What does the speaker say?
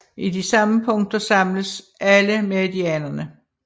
I de samme punkter samles alle meridianerne